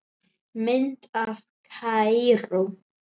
Mynd af Kaíró